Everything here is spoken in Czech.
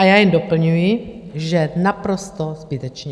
A já jen doplňuji, že naprosto zbytečně.